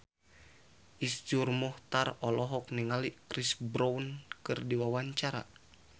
Iszur Muchtar olohok ningali Chris Brown keur diwawancara